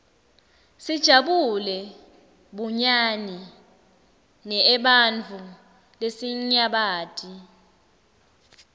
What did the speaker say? sijabulela bunyani neebantfu lesinyabati